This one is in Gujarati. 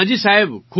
હા જી સાહેબ